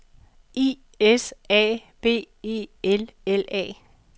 I S A B E L L A